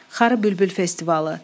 Xarı bülbül festivalı.